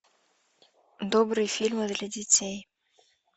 добрые фильмы для детей